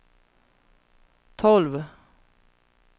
tolv